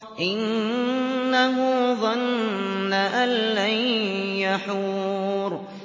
إِنَّهُ ظَنَّ أَن لَّن يَحُورَ